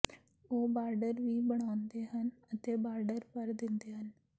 ਉਹ ਬਾਰਡਰ ਵੀ ਬਣਾਉਂਦੇ ਹਨ ਅਤੇ ਬਾਰਡਰ ਭਰ ਦਿੰਦੇ ਹਨ